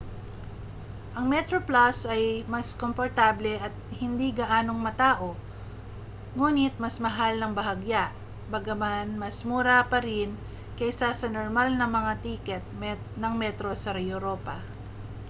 ang metroplus ay mas komportable at hindi gaanong matao nguni't mas mahal nang bahagya bagaman mas mura pa rin kaysa sa normal na mga tiket ng metro sa europa